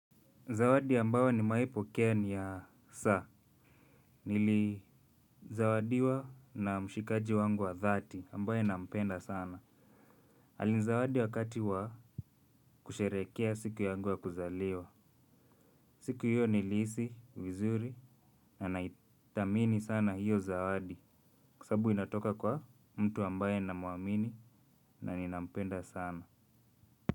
Zawadi ambayo nimewai pokea ni ya saa, nilizawadiwa na mshikaji wangu wa dhati, ambaye nampenda sana. Alinzawadi wakati wa kusherehekea siku yangu ya kuzaliwa. Siku hiyo nilihisi, vizuri, na naithamini sana hiyo zawadi, kwa sababu inatoka kwa mtu ambaye namuamini na ninampenda sana.